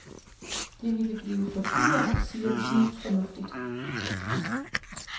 Det ville blive for dyrt, siger de snusfornuftigt.